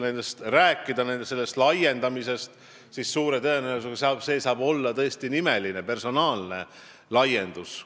Kui rääkida sellest laiendamisest, siis suure tõenäosusega saab see tõesti olla nimeline, personaalne laiendus.